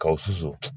K'aw susu